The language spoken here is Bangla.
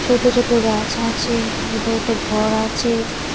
ছোট ছোট গাছ আছে বোধহয় একটা ঘর আছে।